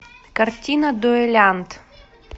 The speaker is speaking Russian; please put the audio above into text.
картина дуэлянт